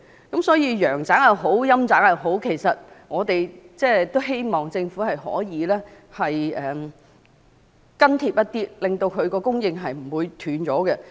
無論陽宅也好，陰宅也好，我們都希望政府可以緊貼社會需求狀況，不致令供應中斷。